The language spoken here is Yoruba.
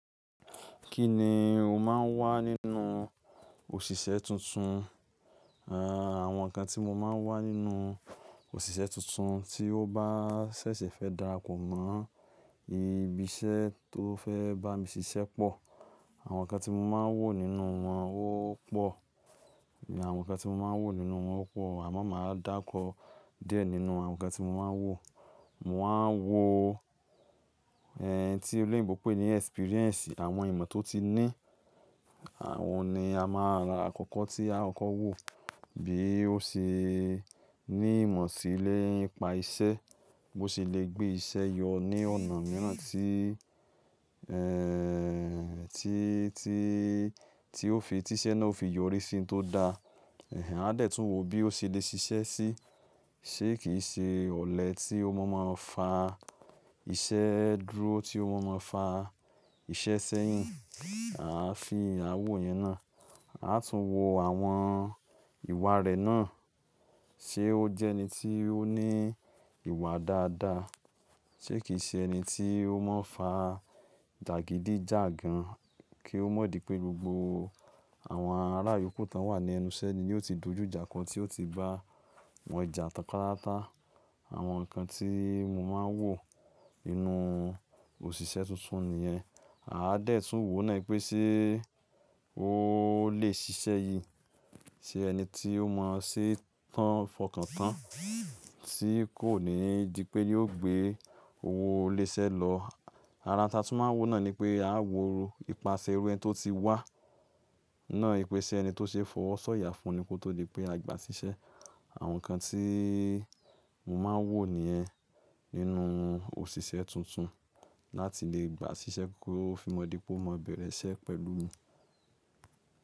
Kí ni o máa ń wá nínú òṣìṣẹ́ tuntun? Àwọn nǹkan tí mo máa ń wá nínú òṣìṣẹ́ tuntun tí ó bá ṣẹ̀ṣẹ̀ fẹ́ darapọ̀ mọ́ ibi iṣẹ́ tó fẹ́ bá mi ṣiṣẹ́ pọ̀, àwọn nǹkan tí mo máa ń wò nínú wọn ó pọ̀. Àwọn nǹkan tí mo máa ń wò nínú wọn ó pọ̀ àmọ́ mà á dàkọ díẹ̀ nínú àwọn nǹkan tí mo máa ń wò. Mo máa ń wo ẹ̀n tí olóyinbó ń pé ní experience, àwọn ìmọ̀ tó ti ní. Àwọn ni a máa rà àkọ́kọ́ tí a kọ́kọ́ wò. Bí ó ṣe ní ìmọ̀ sí nìpa iṣẹ́, bó ṣe lè gbé iṣẹ́ yọ ní ọ̀nà mìíràn tí, ẹ́ ti, tí, tí ó fi, tí iṣẹ́ náà ó fi yọrí sí ohun tó da. Ẹ̀hẹn, a dẹ̀ tún wò bí ó ṣe le ṣiṣẹ́ sí. Ṣé kì í ṣe ọ̀lẹ tí ó mọ̀ máa ń fa iṣẹ́ dúró, tí ó ma máa ń fa iṣẹ́ sẹ́yìn. A fi à wo ìyẹn náà. A tún wò àwọn ìwà rẹ̀ náà. Ṣé ó jẹ́ ẹni tí ó ní ìwà dáadáa? Ṣé kì í ṣe ẹni tí ó mọ́ fa jàgídíjàgan kí ó mọ̀ di pé gbogbo àwọn ará ìyókù tí wọ́n wà ní ẹnu iṣẹ́ ni yóò ti dojú ìjà kọ tí ó ti bá wọn jà tán pátápátá. Àwọn nǹkan tí mo máa ń wò nínú òṣìṣẹ́ tuntun nìyẹn. A dẹ̀ tún wò náà pé ṣé ó lè ṣiṣẹ́ yíi. Ṣé ẹni tí ó mọ̀ ṣe tán fọkàn tán tí kò ní dí pé yóò gbé owó ilé iṣẹ́ lọ. Ara òun tí a tún máa ń wò náà ni pé a wò ipasẹ̀ irú ẹni tó ti wà náà yí pé ṣé ẹni tó ṣe fọwọ́ sọ̀yà fún ni kó tó dí pé a gba ṣiṣẹ́. Àwọn nǹkan tí mo máa ń wò nìyẹn nínú òṣìṣẹ́ tuntun láti lè gba ṣiṣẹ́ kí ó fi mọ́ dí pé ó mọ bẹ̀rẹ̀ iṣẹ́ pẹ̀lú mi.